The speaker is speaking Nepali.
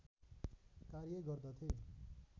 कार्य गर्दथे